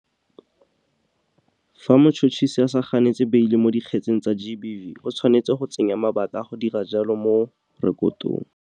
Fa motšhotšhisi a sa ganetse beile mo dikgetseng tsa GBV, o tshwanetse go tsenya mabaka a go dira jalo mo rekotong.